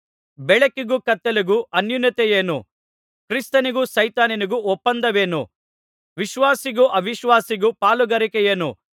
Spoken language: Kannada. ಬೆಳಕಿಗೂ ಕತ್ತಲೆಗೂ ಅನ್ಯೋನ್ಯತೆಯೇನು ಕ್ರಿಸ್ತನಿಗೂ ಸೈತಾನನಿಗೂ ಒಪ್ಪಂದವೇನು ವಿಶ್ವಾಸಿಗೂ ಅವಿಶ್ವಾಸಿಗೂ ಪಾಲುಗಾರಿಕೆಯೇನು